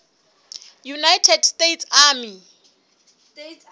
united states army